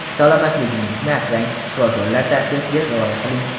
Salomatligingizni asrang, shifokorlar tavsiyasiga rioya qiling.